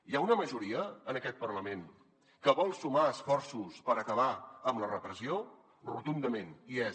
hi ha una majoria en aquest parlament que vol sumar esforços per acabar amb la repressió rotundament hi és